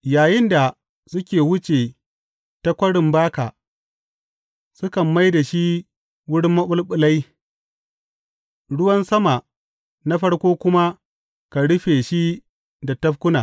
Yayinda suke wuce ta Kwarin Baka, sukan mai da shi wurin maɓulɓulai; ruwan sama na farko kuma kan rufe shi da tafkuna.